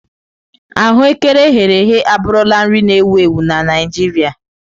Aghù ékẹrè eghere eghe abụrụla nri na-ewu ewu na Naịjirịa.